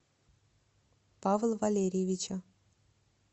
павла валерьевича